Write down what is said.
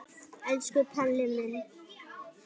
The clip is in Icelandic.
Elsku Palli minn.